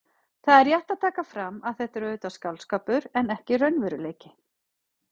Það er rétt að taka fram að þetta er auðvitað skáldskapur en ekki raunveruleiki.